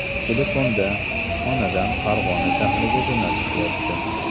Telefonda, ‘Ishxonadan Farg‘ona shahriga jo‘natishyapti.